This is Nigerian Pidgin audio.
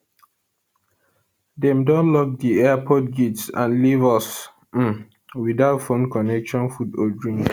dem don lock di airport gates and and leave us um without phone connection food or drink